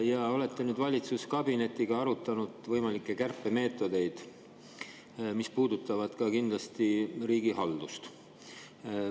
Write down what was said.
Te olete valitsuskabinetis arutanud võimalikke kärpemeetodeid, mis puudutavad kindlasti ka riigihaldust.